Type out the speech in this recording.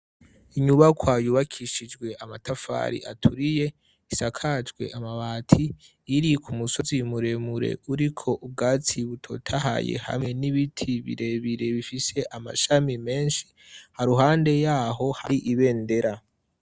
Inyubako yubakishijwe amatafari aturiye, isakajwe amabati, iri ku musozi muremure uriko ubwatsi butotahaye hamwe n'ibiti birebire bifise amashami menshi, haruhande yaho hari ibendera.